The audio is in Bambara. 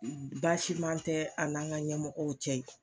Baasiman tɛ an n'an ka ɲɛmɔgwɔ cɛ ye.